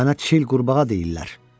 Mənə çil qurbağa deyirlər.